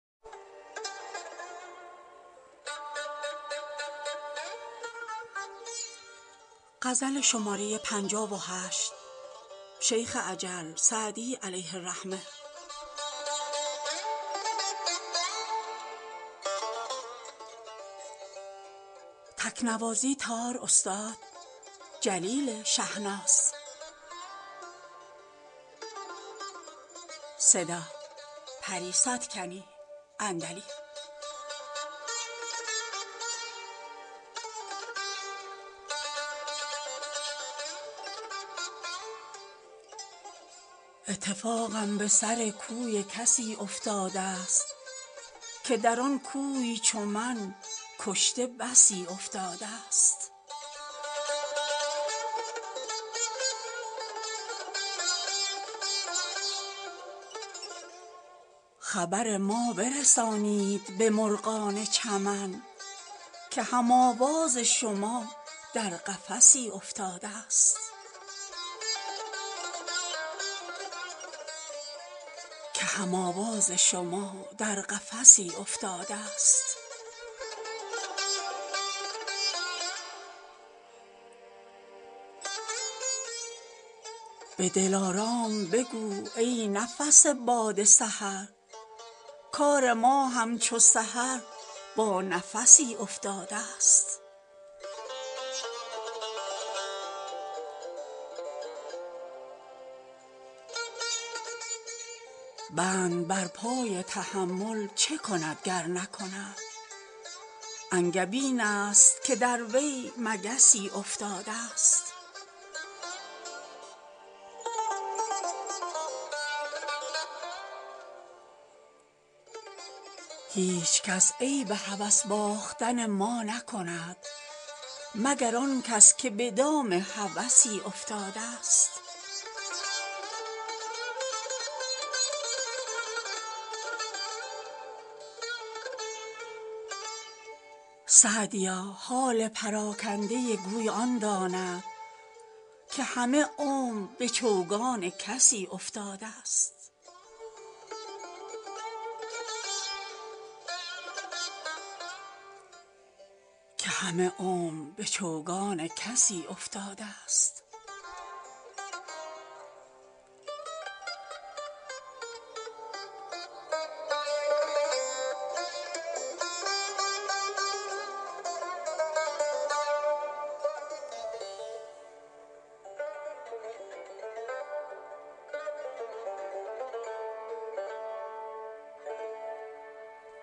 اتفاقم به سر کوی کسی افتاده ست که در آن کوی چو من کشته بسی افتاده ست خبر ما برسانید به مرغان چمن که هم آواز شما در قفسی افتاده ست به دلارام بگو ای نفس باد سحر کار ما همچو سحر با نفسی افتاده ست بند بر پای تحمل چه کند گر نکند انگبین است که در وی مگسی افتاده ست هیچکس عیب هوس باختن ما نکند مگر آن کس که به دام هوسی افتاده ست سعدیا حال پراکنده گوی آن داند که همه عمر به چوگان کسی افتاده ست